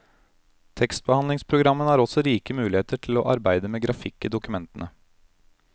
Tekstbehandlingspogrammene har også rike muligheter til å arbeide med grafikk i dokumentene.